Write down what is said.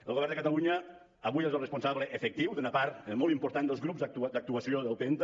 el govern de catalunya avui és el responsable efectiu d’una part molt important dels grups d’actuació del penta